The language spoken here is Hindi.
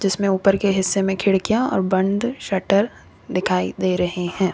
इसमें ऊपर के हिस्से में खिड़कियां और बंद शटर दिखाई दे रहे हैं।